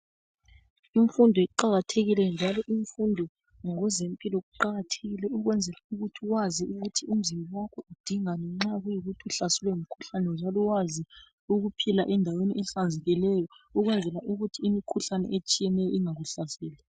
Imfundo iqakathekile njalo ngokwezempilo yenza wazi ukuthi umzimba wakho udingani nxa uhlaselwe yimikhuhlane njalo uyenelisa ukuphila endaweni ehlanzekileyo ukuze ungahlaselwa yimikhuhlane.